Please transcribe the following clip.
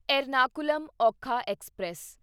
Ernakulam Okha express